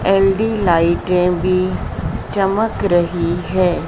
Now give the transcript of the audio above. एल_डी लाइटें भी चमक रही है।